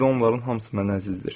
İndi onların hamısı mənə əzizdir.